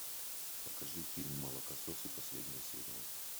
покажи фильм молокососы последняя серия